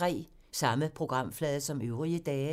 Samme programflade som øvrige dage